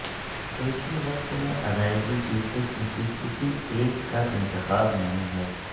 ایک ہی وقت میں ادائیگی کی قسم کی کسی ایک کا انتخاب نہیں ہے